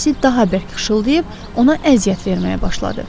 Sinəsi daha bərk xışıldayıb ona əziyyət verməyə başladı.